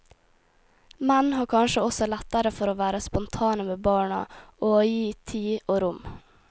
Menn har kanskje også lettere for å være spontane med barna og å gi tid og rom.